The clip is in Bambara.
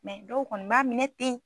dɔw kɔni b'a minɛ ten.